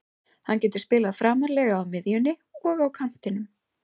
Hann getur spilað framarlega á miðjunni og á kantinum.